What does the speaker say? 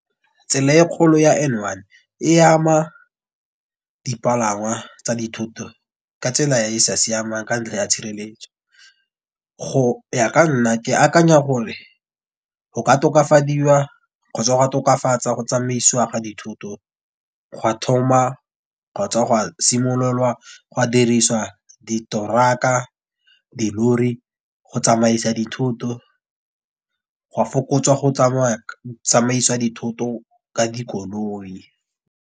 Tsela e kgolo ya N one e ama dipalangwa tsa dithoto ka tsela e e sa siamang ka ntlha ya tshireletso. Go ya ka nna ke akanya gore go ka tokafadiwa kgotsa go tokafatsa go tsamaiswa ga dithoto gwa thoma kgotsa gwa simololwa gwa diriswa ditoraka, dilori go tsamaisa dithoto gwa fokotswa go tsamaisa dithoto ka dikoloi.